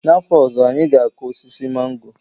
N'afọ ọzọ, anyị ga-akụ osisi mango.